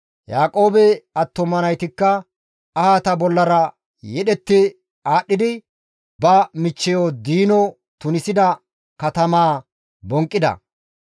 Yaaqoobe attuma naytikka ahata bollara yedhetti aadhdhidi ba michcheyo Diino tunisida katamaa bonqqida.